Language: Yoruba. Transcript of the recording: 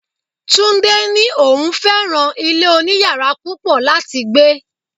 Túndé ní òun fẹ́ràn ilé oniyara púpọ̀ láti gbé.